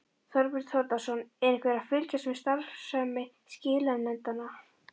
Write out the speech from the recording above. Þorbjörn Þórðarson: Er einhver að fylgjast með starfsemi skilanefndanna?